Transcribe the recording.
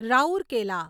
Rourkela